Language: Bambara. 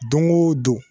Don o don